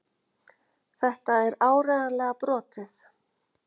Þetta er áreiðanlega brotið.